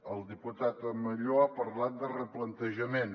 el diputat amelló ha parlat de replantejament